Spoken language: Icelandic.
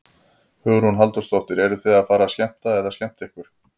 Hugrún Halldórsdóttir: Eruð þið að fara að skemmta eða skemmta ykkur?